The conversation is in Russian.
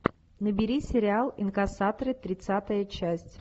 набери сериал инкассаторы тридцатая часть